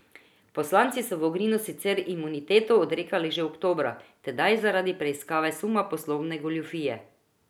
Poslanci so Vogrinu sicer imuniteto odrekli že oktobra, tedaj zaradi preiskave suma poslovne goljufije.